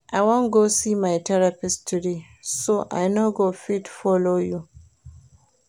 I wan go see my therapist today so I no go fit follow you